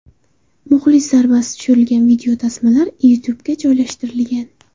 Muxlis zarbasi tushirilgan videotasmalar YouTubega joylashtirilgan.